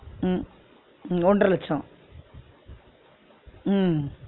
உம் ஹம் ஒன்ற லட்சம் உம்